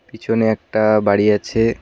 পিছনে একটা বাড়ি আছে।